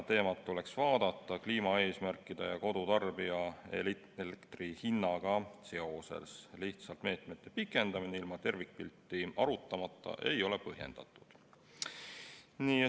Teemat tuleks vaadata ka kliimaeesmärkide ja kodutarbija elektrihinnaga seoses, lihtsalt meetmete pikendamine ilma tervikpilti arutamata ei ole põhjendatud.